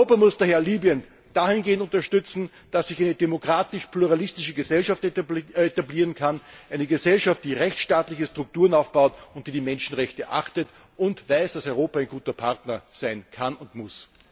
Europa muss daher Libyen dahingehend unterstützen, dass sich eine demokratisch pluralistische Gesellschaft etablieren kann, eine Gesellschaft, die rechtstaatliche Strukturen aufbaut, die Menschenrechte achtet und weiß, das Europa ein guter Partner sein kann und muss.